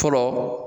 Fɔlɔ